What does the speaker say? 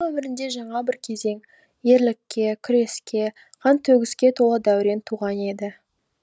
оның өмірінде жаңа бір кезең ерлікке күреске қан төгіске толы дәурен туған еді